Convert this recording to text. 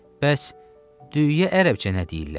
Bəs, düyüyə ərəbcə nə deyirlər?